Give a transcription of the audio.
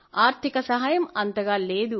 ఆర్థిక సహాయం అంతగా లేదు